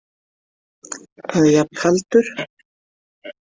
Eða jafn kaldur.